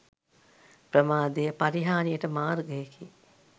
ප්‍රමාදය පරිහාණියට මාර්ගයකි.